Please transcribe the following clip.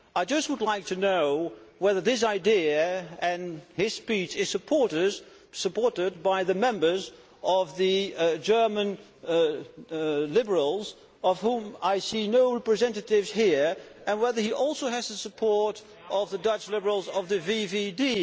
I would just like to know whether this idea and his speech are supported by the members of the German Liberals, of whom I see no representatives here, and whether he also has the support of the Dutch Liberals of the VVD.